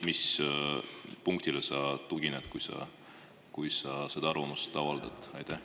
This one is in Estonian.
Mis punktile sa tugined, kui sa seda arvamust avaldad?